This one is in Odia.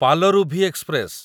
ପାଲରୁଭି ଏକ୍ସପ୍ରେସ